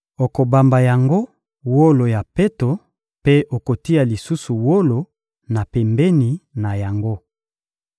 Okobamba yango wolo ya peto mpe okotia lisusu wolo na pembeni na yango.